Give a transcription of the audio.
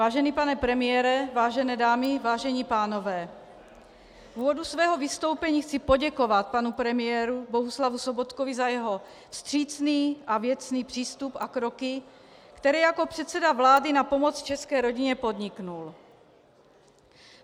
Vážený pane premiére, vážené dámy, vážení pánové, v úvodu svého vystoupení chci poděkovat panu premiérovi Bohuslavu Sobotkovi za jeho vstřícný a věcný přístup a kroky, které jako předseda vlády na pomoc české rodině podnikl.